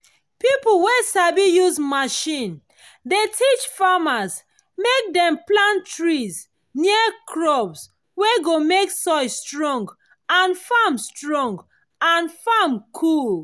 pipo wey sabi use machine dey teach farmers mek dem plant tree near crops wey go mek soil strong and farm strong and farm cool